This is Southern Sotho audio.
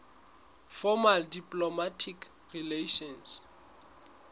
formal diplomatic relations